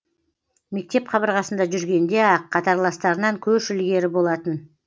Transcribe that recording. мектеп қабырғасында жүргенде ақ қатарластарынан көш ілгері болатын